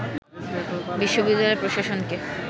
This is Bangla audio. বিশ্ববিদ্যালয় প্রশাসনকে